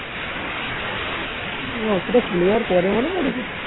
সেটা চলে যাওয়ার পরে মনে পড়বে